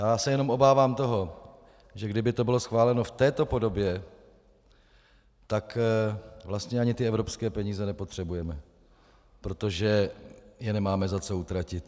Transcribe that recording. Já se jenom obávám toho, že kdyby to bylo schváleno v této podobě, tak vlastně ani ty evropské peníze nepotřebujeme, protože je nemáme za co utratit.